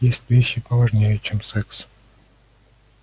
есть вещи поважнее чем секс